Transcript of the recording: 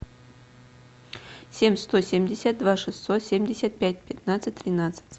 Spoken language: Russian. семь сто семьдесят два шестьсот семьдесят пять пятнадцать тринадцать